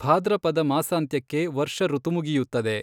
ಭಾದ್ರಪದ ಮಾಸಾಂತ್ಯಕ್ಕೆ ವರ್ಷಋತು ಮುಗಿಯುತ್ತದೆ.